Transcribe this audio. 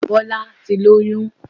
Bọ́lá ti lóyún